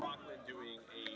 Blessuð sé minning Rögnu.